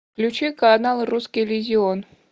включи канал русский иллюзион